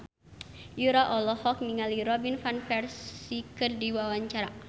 Yura olohok ningali Robin Van Persie keur diwawancara